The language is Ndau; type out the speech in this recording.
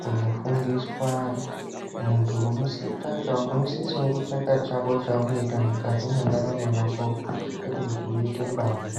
kundofundiswa muntu unosisawo kutsvaka chako chaunoita mukati mendaramo yako kwete kuti uite mbavha.